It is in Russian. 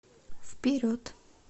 вперед